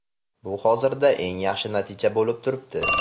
Bu hozirda eng yaxshi natija bo‘lib turibdi.